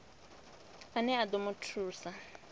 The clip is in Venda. ane a ḓo mu thusa